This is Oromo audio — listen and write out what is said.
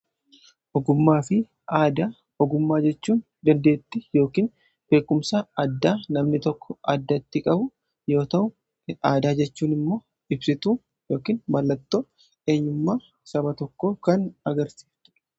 Ogummaa fi aadaa; ogummaa jechuun dandeettii yookiin beekumsa addaa namni tokko addatti qabu yoo ta'u; Aadaa jechuun immoo ibsituu yookiin mallattoo eenyummaa saba tokkoo kan agarsiiftudha.